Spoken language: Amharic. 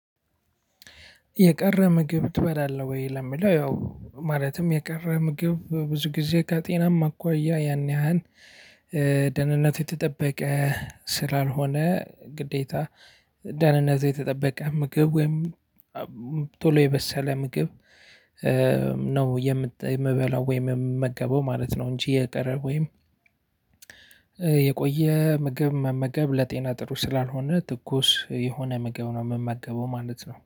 የቀረ ምግብ ትበላለህ ወይ ለሚለው ያው ማለትም የቀረ ምግብ በብዙ ጊዜ ከጤናማ አኳያ ያን ያህል ደህንነት የተጠበቀ ስላልሆነ ግዴታ ደህንነቱ የተጠበቀ ምግብ ወይም ቶሎ የበሰለ ምግብ ነው የምበላው ወይም የምመገበው ማለት ነው። እንጂ የቀረ ወይም የቆየ ምግብ መመገብ ለጤና ጥሩ ስላልሆነ ትኩስ የሆነ ምግብ ነው የምመገበው ማለት ነው